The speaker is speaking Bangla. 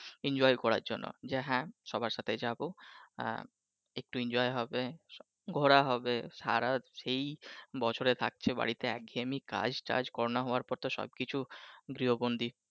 enjoy করার জন্য যে হ্যাঁ সবার সাথেই যাবো আহ একটু enjoy হবে ঘুরা হবে সারা সেই বছর থাকছো বাড়িতে এক ঘেয়েমি কাজটাজ করোনা হওয়ার পর তো সবকিছু গৃহবন্দী।